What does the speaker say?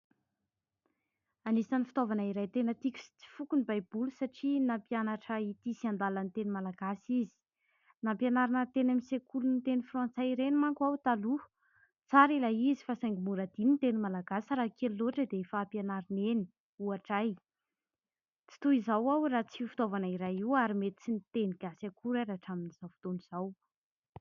Anisan'ny fitaovana iray tena tiko sy tsy foko ny baiboly satria nampianatra ity sy andala ny teny malagasy izy nampianarina teny amin'ny sekoly teny frantsay ireny manko aho taloha tsara ilay izy fa saingy mora adino ny teny malagasy raha kely loatra dia efa hampianarina eny ,ohatra ahy, tsy toy izao aho raha tsy io fitaovana iray io ary mety tsy niteny gasy akory rahatramin'izao fotoana izao.